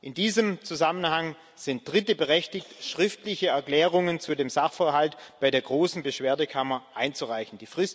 In diesem Zusammenhang sind Dritte berechtigt, schriftliche Erklärungen zu dem Sachverhalt bei der großen Beschwerdekammer einzureichen.